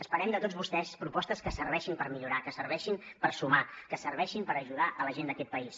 esperem de tots vostès propostes que serveixin per millorar que serveixin per sumar que serveixin per ajudar la gent d’aquest país